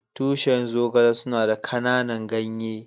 Tushin Zogale suna da kananan ganye.